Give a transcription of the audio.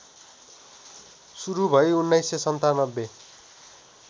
सुरु भई १९९७